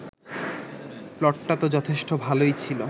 প্লটটা তো যথেষ্ট ভালোই ছিল